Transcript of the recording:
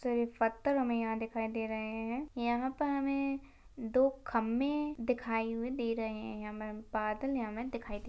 इस तरीफ पत्थर हमे यह दिखाई दे रहे है। यह पर हमे दो खंबे दिखाई हुई दे रहे है। यहा हमें बादल हमे दिखाई --